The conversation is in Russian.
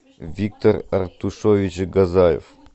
виктор артушович газаев